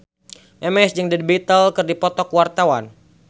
Memes jeung The Beatles keur dipoto ku wartawan